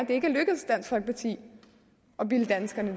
det ikke er lykkedes dansk folkeparti at bilde danskerne